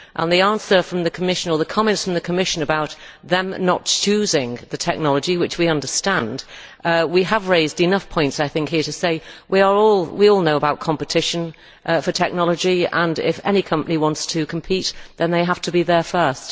And as regards the comments from the Commission about them not choosing the technology which we understand we have raised enough points here to say we all know about competition for technology and if any company wants to compete then they have to be there first.